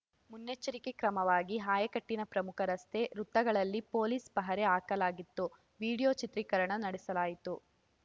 ಮುನ್ನೆಚ್ಚರಿಕೆ ಕ್ರಮವಾಗಿ ಆಯಕಟ್ಟಿನ ಪ್ರಮುಖ ರಸ್ತೆ ವೃತ್ತಗಳಲ್ಲಿ ಪೊಲೀಸ್‌ ಪಹರೆ ಹಾಕಲಾಗಿತ್ತು ವೀಡಿಯೋ ಚಿತ್ರೀಕರಣ ನಡೆಸಲಾಯಿತು